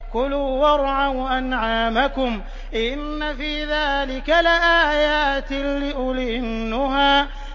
كُلُوا وَارْعَوْا أَنْعَامَكُمْ ۗ إِنَّ فِي ذَٰلِكَ لَآيَاتٍ لِّأُولِي النُّهَىٰ